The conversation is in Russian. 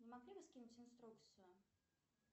не могли бы скинуть инструкцию